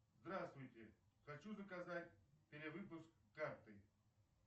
здравствуйте хочу заказать перевыпуск карты